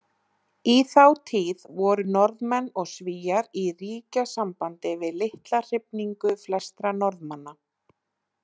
Í þá tíð voru Norðmenn og Svíar í ríkjasambandi við litla hrifningu flestra Norðmanna.